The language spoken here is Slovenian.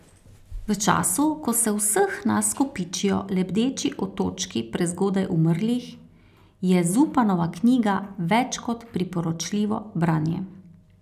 V času, ko se v vseh nas kopičijo lebdeči otočki prezgodaj umrlih, je Zupanova knjiga več kot priporočljivo branje.